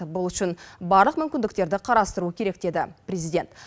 бұл үшін барлық мүмкіндіктерді қарастыру керек деді президент